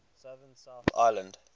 southern south island